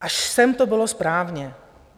Až sem to bylo správně.